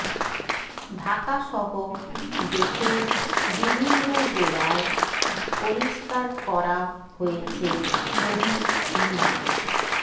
ঢাকাসহ দেশের বিভিন্ন জেলায় পরিস্কার করা হয়েছে শহীদ মিনার